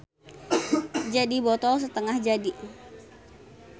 Jadi botol satengah jadi.